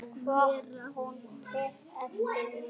Hvort hún tók eftir mér.